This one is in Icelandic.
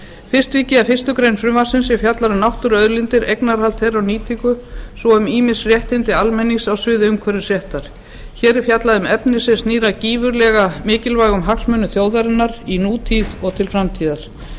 ég að fyrstu grein frumvarpsins sem fjallar um náttúruauðlindir eignarhald þeirra og nýtingu svo og um ýmis réttindi almennings á sviði umhverfisréttar hér er fjallað um efni sem snýr að gífurlega mikilvægum hagsmunum þjóðarinnar í nútíð og til framtíðar